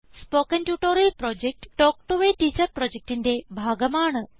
spoken tutorial project talk to a teacher പ്രൊജക്റ്റിന്റെ ഭാഗമാണ്